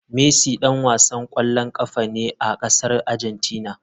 Messi dan wasan kwallon kafa ne a kasar Argentina.